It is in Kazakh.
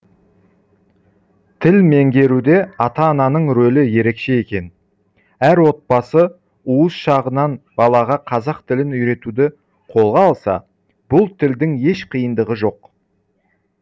тіл меңгеруде ата ананың рөлі ерекше екен әр отбасы уыз шағынан балаға қазақ тілін үйретуді қолға алса бұл тілдің еш қиындығы жоқ